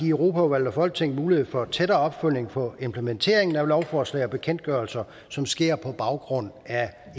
europaudvalget og folketinget mulighed for en tættere opfølgning på implementering af lovforslag og bekendtgørelser som sker på baggrund af